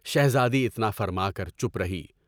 شہزادی اتنا فرما کر چپ رہی۔